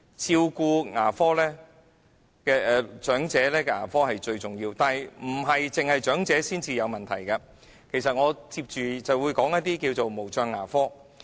照顧長者的牙科服務是最重要的，但當然不單是長者才有問題，接下來我便會談談無障牙科。